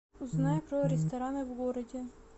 узнай про рестораны в городе